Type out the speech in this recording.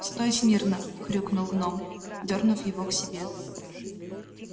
стой смирно хрюкнул гном дёрнув его к себе